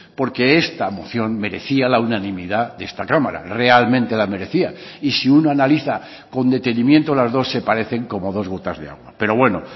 porque esta moción merecía la unanimidad de esta cámara realmente la merecía y si una analiza con detenimiento las dos se parecen como dos gotas de agua pero bueno